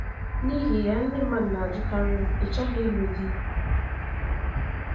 N’ihi ya, ndị mmadụ na - ajụkarị m: “ Ị́ chọghị ịlụ di?